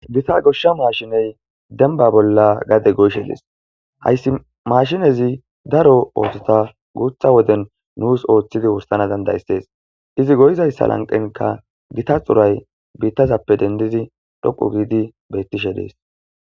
gita goshsha maashiney demba bolla gade goyshe diis hayssi mashinezi daro oosota guutha woden nuus ooththidi wursana dandayssees izi goyizayssa lanqenka gita xuray biittazappe dendidi dhoqu giidi bettishe dees